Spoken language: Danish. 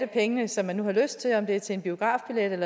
penge som de nu har lyst til om det er til en biografbillet